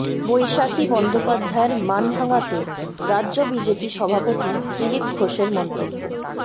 বৈশাখী বন্দ্যোপাধ্যায়ের মান ভাঙাতে রাজ্য বিজেপি সভাপতি দিলীপ ঘোষের মন্তব্য